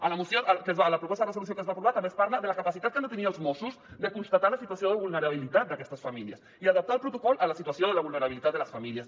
en la proposta de resolució que es va aprovar també es parla de la capacitat que han de tenir els mossos de constatar la situació de vulnerabilitat d’aquestes famílies i adaptar el protocol a la situació de la vulnerabilitat de les famílies